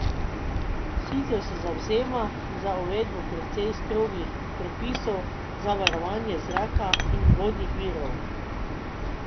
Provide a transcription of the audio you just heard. Sicer se zavzema za uvedbo precej strogih predpisov za varovanje zraka in vodnih virov.